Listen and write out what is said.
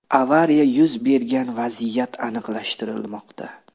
Avariya yuz bergan vaziyat aniqlashtirilmoqda.